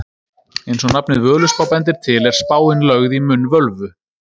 eins og nafnið völuspá bendir til er spáin lögð í munn völvu